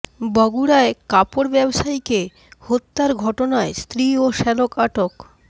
বগুড়ায় কাপড় ব্যবসায়ীকে হত্যার ঘটনায় স্ত্রী ও শ্যালক আটক